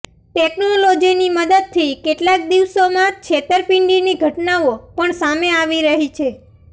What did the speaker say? ટેકનોલોજીની મદદથી કેટલાક દિવસોમાં છેતરપિંડીની ઘટનાઓ પણ સામે આવી રહી છે